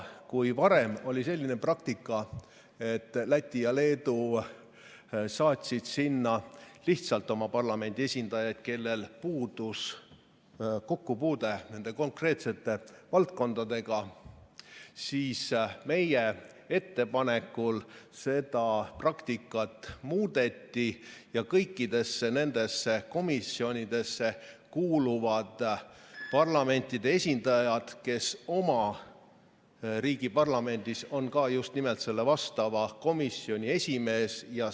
Kui varem oli selline praktika, et Läti ja Leedu saatsid sinna lihtsalt oma parlamendi esindajaid, kellel puudus kokkupuude konkreetsete valdkondadega, siis meie ettepanekul seda praktikat muudeti ja kõikidesse nendesse komisjonidesse kuuluvad parlamentide esindajad, kes oma riigi parlamendis on ka just nimelt vastava komisjoni esimehed.